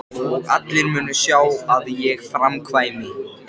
Og allir munu sjá að ég framkvæmi!